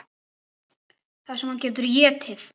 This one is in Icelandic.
Það sem hann getur étið!